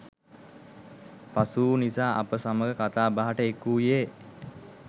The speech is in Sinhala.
පසුවූ නිසා අප සමඟ කතා බහට එක්වූයේ